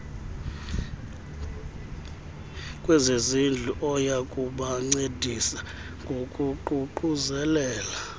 kwezezindlu oyakubancedisa ngokuququzelela